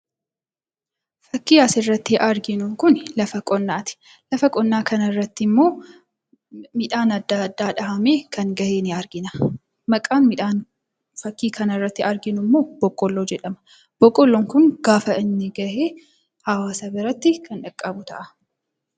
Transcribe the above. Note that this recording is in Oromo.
Fakkiin asirratti arginu kun lafa qonnaati. Lafa qonnaa kanarratti immoo midhaab adda addaa dhahamee kan gahe ni argina. Maqaan midhaan fakkii kanarratti arginu immoo Boqqolloo jedhama. Boqqolloon kun gaafa gahe hawwasa biratti kan qaqqabu ta'a.